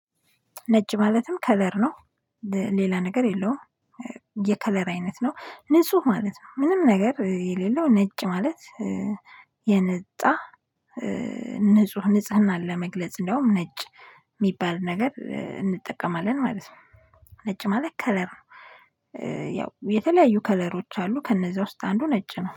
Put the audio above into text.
ነጭ ማለትም ከለር ነው። ሌላ ነገር የለውም። የከለር አይነት ነው ንጹህ ማለት ነው ምንም ነገር የሌለው ነጭ ማለት የነጣ ንጹህ ንጽህናን ለመግለጽ እንደውም ነጭ ሚባል ነገር እንጠቀማለን ማለት ነው። ነጭ ማለት ከለር ነው። ያው የተለያዩ ከለሮች አሉ ከነዛ ውስጥ አንዱ ነጭ ነው